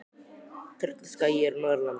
Tröllaskagi er á Norðurlandi.